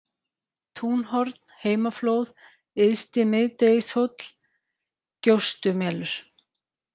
Túnhorn, Heimaflóð, Yðsti-Miðdegishóll, Gjóstumelur